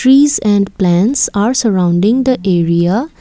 trees and plants are surrounding the area.